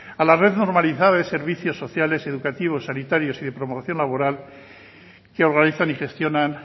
al haber normalizado los servicios sociales educativos sanitarios y de promoción laboral que organizan y gestionan